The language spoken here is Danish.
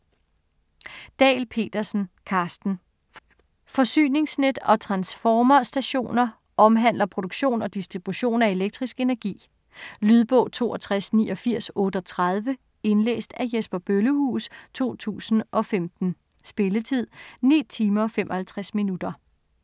Dahl Petersen, Carsten: Forsyningsnet og transformerstationer Omhandler produktion og distribution af elektrisk energi. Lydbog 628938 Indlæst af Jesper Bøllehuus, 2015. Spilletid: 9 timer, 55 minutter.